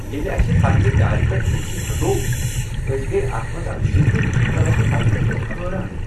ییٚلہ اسہِ پنٛنہِ دارِ پٮ۪ٹھٕ اے سی ہٹوو، أسۍ گٔیۍ اتھ منٛز اکھ زندٕ كینكہٕ لٕچہِ بچہٕ ؤچھتھ حٲران۔